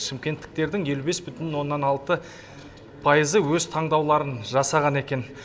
шымкенттіктердің елу бес бұтін оннан алты пайызы өз таңдауларын жасаған екен